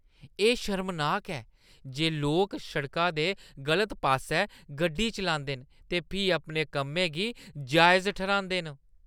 एह् शर्मनाक ऐ जे लोक सड़का दे गलत पास्सै गड्डी चलांदे न ते फ्ही अपने कम्में गी जायज ठर्‌हांदे न।